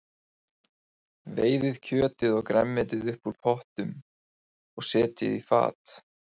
Veiðið kjötið og grænmetið upp úr pottinum og setjið á fat.